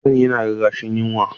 Cikin Sani yana rarrashin yunwa.